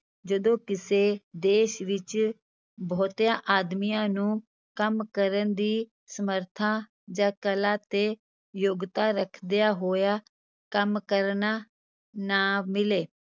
ਜਦੋਂ ਕਿਸੇ ਦੇਸ ਵਿੱਚ ਬਹੁਤਿਆਂ ਆਦਮੀਆਂ ਨੂੰ ਕੰਮ ਕਰਨ ਦੀ ਸਮਰਥਾ ਜਾਂ ਕਲਾ ਤੇ ਯੋਗਤਾ ਰੱਖਦਿਆਂ ਹੋਇਆ ਕੰਮ ਕਰਨਾ ਨਾ ਮਿਲੇ।